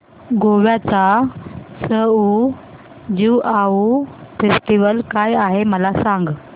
गोव्याचा सउ ज्युआउ फेस्टिवल काय आहे मला सांग